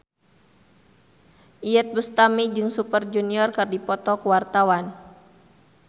Iyeth Bustami jeung Super Junior keur dipoto ku wartawan